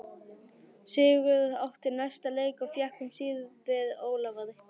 Sigurður átti næsta leik og fékk um síðir Ólafar.